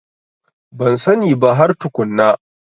Ban sani ba har tukunna.